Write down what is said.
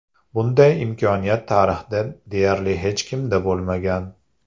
Bunday imkoniyat tarixda deyarli hech kimda bo‘lmagan.